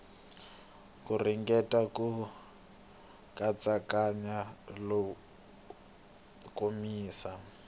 ku ringeta ku katsakanya komisa